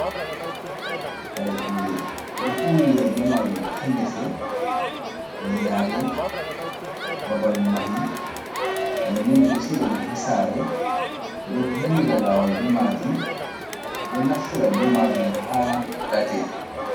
Kare Kuɗe: Ɓeɗo huudira be majum ha ngese, yenale, babal mahi, nden nden ɓeɗo siga ɗum ha sare, ɓeɗo vuwira lawol be majum, ɓeɗo naftira be majum ha ɗate.